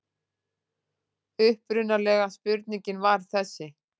Upprunalega spurningin var þessi: